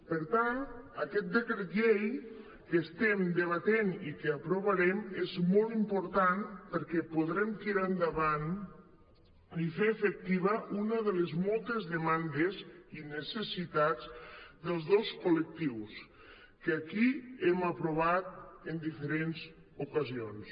per tant aquest decret llei que estem debatent i que aprovarem és molt important perquè podrem tirar endavant i fer efectiva una de les moltes demandes i necessitats dels dos col·lectius que aquí hem aprovat en diferents ocasions